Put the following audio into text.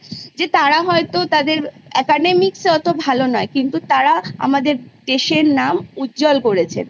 যে তারা হয়তো তাদের Academics এ অত ভালো নয় কিন্তু তারা আমাদের দেশের নাম উজ্জ্বল করেছে